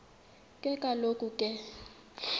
ke kaloku ke